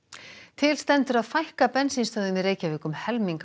til stendur að fækka bensínstöðvum í Reykjavík um helming